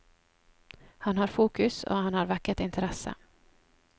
Han har fokus, og han har vekket interesse.